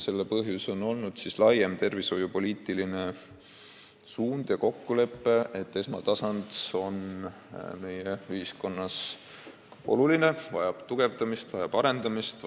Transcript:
Aga nüüd on meil laiem tervishoiupoliitiline suund ja kokkulepe, et esmatasand on meie ühiskonnas oluline ja vajab tugevdamist, vajab arendamist.